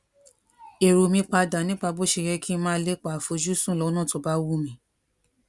èrò mi pa dà nípa bó ṣe yẹ kí n máa lepa afojusun lónà tó bá wù mí